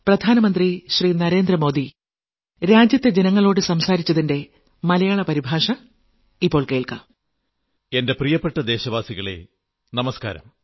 പ്രിയപ്പെട്ട ദേശവാസികളേ നമസ്കാരം